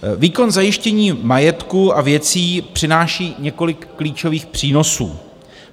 Výkon zajištění majetku a věcí přináší několik klíčových přínosů.